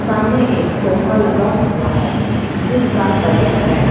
सामने एक सोफा लगा हुआ है जिसका कलर रेड --